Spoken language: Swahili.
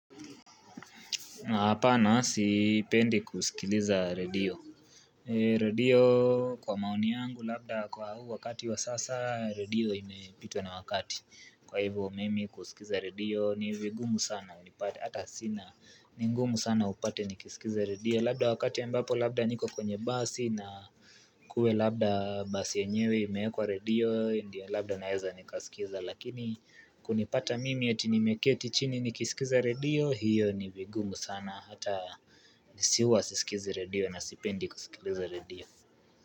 Hapana sipendi kusikiliza radio. Radio kwa maoni yangu labda kwa wakati wa sasa radio imepitwa na wakati. Kwa hivyo mimi kusikiza radio ni vigumu sana unipate. Hata sina ni ngumu sana upate nikisikiza radio. Labda wakati ambapo labda niko kwenye basi na kuwe labda basi yenyewe imeekwa radio. Hii ndio labda naeza nikasikiza. Lakini kunipata mimi eti nimekiti chini nikisikiza radio. Hiyo ni vigumu sana. Na hata nisiwa sisikizi redia na sipendi kusikiliza redio.